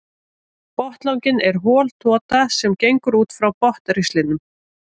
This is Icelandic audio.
Botnlanginn er hol tota sem gengur út frá botnristlinum.